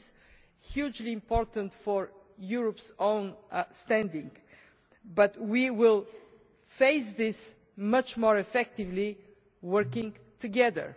This is hugely important for Europe's own standing, and we will face this much more effectively working together.